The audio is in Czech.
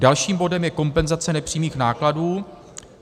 Dalším bodem je kompenzace nepřímých nákladů.